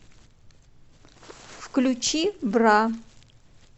включи бра